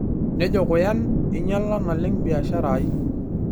Nejo Kuyan, einyala naleng biashara aai.